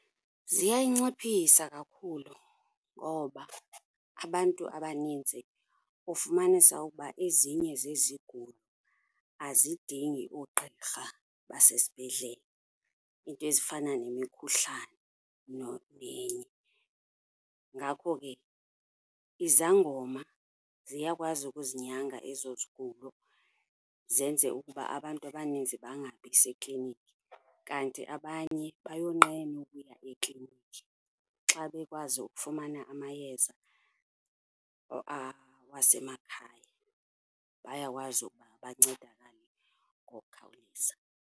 Ziyayinciphisa kakhulu ngoba abantu abaninzi ufumanisa ukuba ezinye zezigulo azidingi oogqirha basesibhedlele, iinto ezifana nemikhuhlane , ngako ke izangoma ziyakwazi ukuzinyanga ezo zigulo, zenze ukuba abantu abaninzi bangabi seklinikhi. Kanti abanye bayonqena ukuya eklinikhi, xa bekwazi ukufumana amayeza awasemakhaya bayakwazi ukuba bancedakale ngokukhawuleza.